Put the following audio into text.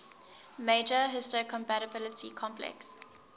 major histocompatibility complex